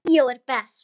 Bíó er best.